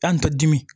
An tɛ dimi